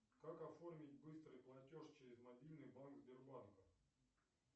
как оформить быстрый платеж через мобильный банк сбербанка